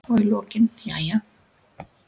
Og í lokin: Jæja.